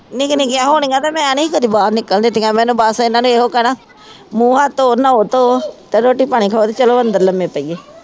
ਨਿੱਕੀਆਂ ਨਿੱਕੀਆਂ ਹੋਣੀਆਂ ਤਾਂ ਮੈਂ ਨਹੀਂ ਕਦੀ ਬਾਹਰ ਨਿਕਲਣ ਦਿੱਤੀਆਂ, ਮੈਨੂੰ ਬਸ ਇਹਨਾ ਨੇ ਇਹੋ ਕਹਿਣਾ ਮੂੰਹ ਹੱਥ ਧੋ ਨਹਾਉ ਧੋ ਤੇ ਰੋਟੀ ਪਾਣੀ ਖਾਉ ਅਤੇ ਚੱਲੋ ਅੰਦਰ ਲੰਮੇ ਪਈਏ